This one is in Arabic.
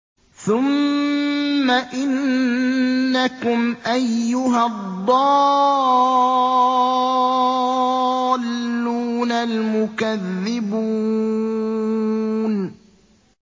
ثُمَّ إِنَّكُمْ أَيُّهَا الضَّالُّونَ الْمُكَذِّبُونَ